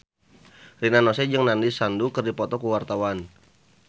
Rina Nose jeung Nandish Sandhu keur dipoto ku wartawan